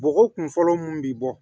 Bɔgɔ kun fɔlɔ mun bi bɔ